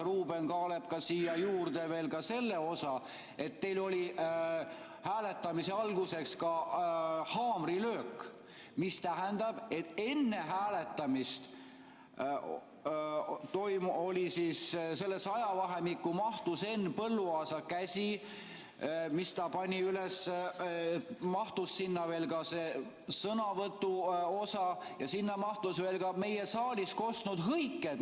Ruuben Kaalep lisas siia juurde veel selle osa, et teil oli hääletamise alguses ka haamrilöök, mis tähendab, et enne hääletamist, sellesse ajavahemikku mahtus Henn Põlluaasa käsi, mille ta pani üles, sinna mahtus see sõnavõtuosa ja sinna mahtusid veel ka meie saalist kostnud hõiked.